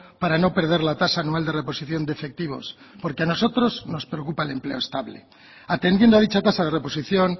para no perder la tasa anual de reposición de efectivos porque a nosotros nos preocupa el empleo estable atendiendo a dicha tasa de reposición